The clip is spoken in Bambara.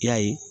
I y'a ye